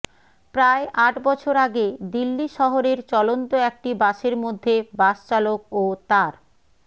প্রায় আট বছর আগে দিল্লি শহরের চলন্ত একটি বাসের মধ্যে বাসচালক ও তার